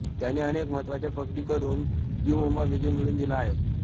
त्यांनी अनेक महत्त्वाच्या पकडी करून यू मुम्बा विजय मिळवून दिला आहे